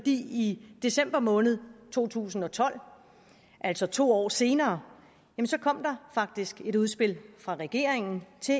i december måned to tusind og tolv altså to år senere kom der faktisk et udspil fra regeringen til